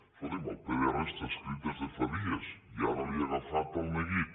escolti’m el pdr està escrit des de fa dies i ara li ha agafat el ne guit